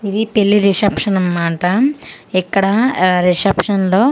ఇది పెళ్లి రిసెప్షన్ అన్మాట ఇక్కడా ఆ రిసెప్షన్ లో --